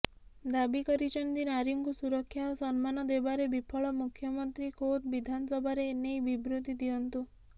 ଦାବି କରିଛନ୍ତି ନାରୀଙ୍କୁ ସୁରକ୍ଷା ଓ ସମ୍ମାନ ଦେବାରେ ବିଫଳ ମୁଖ୍ୟମନ୍ତ୍ରୀ ଖୋଦ୍ ବିଧାନସଭାରେ ଏନେଇ ବିବୃତି ଦିଅନ୍ତୁ